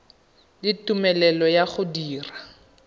le tumelelo ya go dira